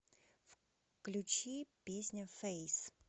включи песня фэйс